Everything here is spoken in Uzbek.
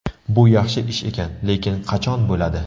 Bu yaxshi ish ekan, lekin qachon bo‘ladi?